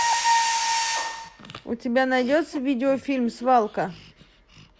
у тебя найдется видеофильм свалка